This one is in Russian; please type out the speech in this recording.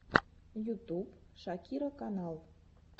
ютуб шакира канал